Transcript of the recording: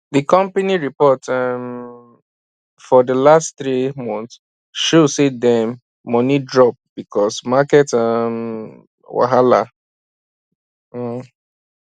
d company report um for d last three months show say dem money drop because market um wahala um